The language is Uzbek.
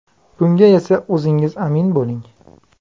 Bunga esa o‘zingiz amin bo‘ling!